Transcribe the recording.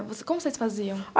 Mas como vocês faziam?